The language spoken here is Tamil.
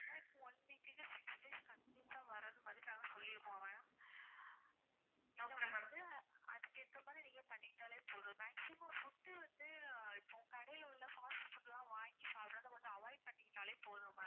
ஆனா இப்போ one week six days continuous ஆ வர்றது மாதிரி நாங்க சொல்லி இருக்கோம் ma'am நீங்க வந்து அதுக்கு ஏத்த மாதிரி நீங்க பண்ணிக்கிட்டாலே போதும் maximum food வந்து இப்போ கடையில உள்ள fast food லாம் வாங்கி சாப்பிடுறதை கொஞ்சம் avoid பண்ணிக்கிட்டாலே போதும் ma'am